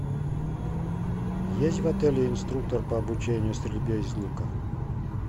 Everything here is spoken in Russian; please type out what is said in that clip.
есть в отеле инструктор по обучению стрельбе из лука